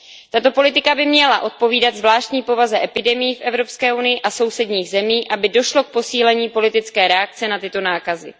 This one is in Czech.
Tato politika by měla odpovídat zvláštní povaze epidemií v Evropské unii a sousedních zemích, aby došlo k posílení politické reakce na tyto nákazy.